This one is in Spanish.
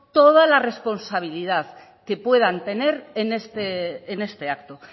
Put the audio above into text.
toda la responsabilidad que puedan tener en este acto